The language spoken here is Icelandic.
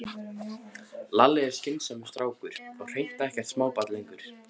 Lalli er skynsamur strákur og hreint ekkert smábarn lengur.